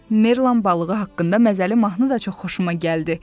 Merlan balığı haqqında məzəli mahnı da çox xoşuma gəldi.